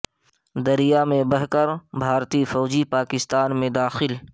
دریا میں بہہ کر بھارتی فوجی پاکستان میں داخل